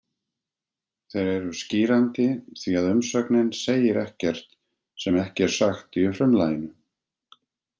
Þeir eru skýrandi því að umsögnin segir ekkert sem ekki er sagt í frumlaginu.